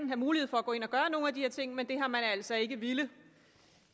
have mulighed for at gå ind og gøre nogle af de her ting men det har man altså ikke villet